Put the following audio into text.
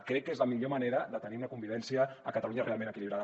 crec que és la millor manera de tenir una convivència a catalunya realment equilibrada